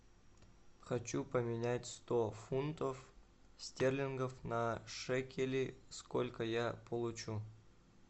хочу поменять сто фунтов стерлингов на шекели сколько я получу